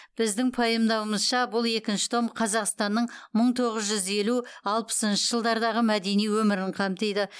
біздің пайымдауымызша бұл екінші том қазақстанның мың тоғыз жүз елу алпысыншы жылдардағы мәдени өмірін қамтиды